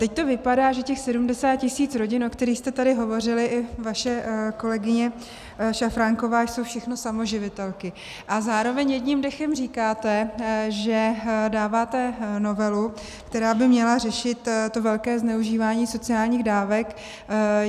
Teď to vypadá, že těch 70 tisíc rodin, o kterých jste tady hovořili, i vaše kolegyně Šafránková, jsou všechno samoživitelky, a zároveň jedním dechem říkáte, že dáváte novelu, která by měla řešit to velké zneužívání sociálních dávek.